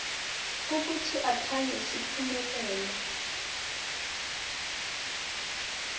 ukuthi akhange siphumelele